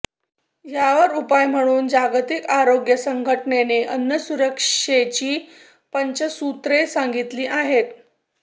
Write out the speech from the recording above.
यावर उपाय म्हणून जागतिक आरोग्य संघटनेने अन्न सुरक्षेची पंचसूत्रे सांगितली आहेत